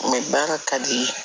baara ka di ye